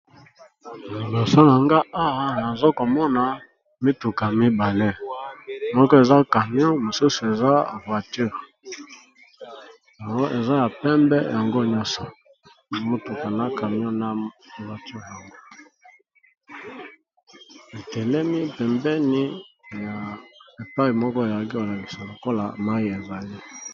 Nalasa nanga awa nazokomona mituka mibale moko eza camion mosusu eza voiture yango eza ya pembe yango nyonso amituka na camion na voiture yango etelemi pembeni ya epai moko eyagi olalisa lokola mayi ezali.